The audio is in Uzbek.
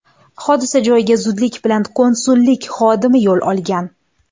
Hodisa joyiga zudlik bilan konsullik xodimi yo‘l olgan.